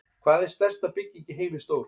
Hvað er stærsta bygging í heimi stór?